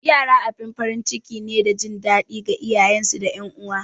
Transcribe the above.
Yara abin farin ciki ne da jin daɗi ga iyayensu da ’yan uwa.